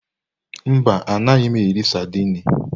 Mba, anaghị m eri saidini.